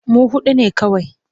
Mu huɗu ne kawai.